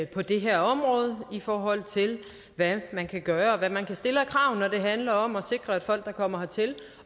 på det her område i forhold til hvad man kan gøre og hvad man kan stille af krav når det handler om at sikre at folk der kommer hertil